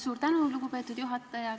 Suur tänu, lugupeetud juhataja!